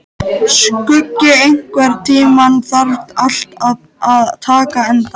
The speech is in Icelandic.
Skuggi, einhvern tímann þarf allt að taka enda.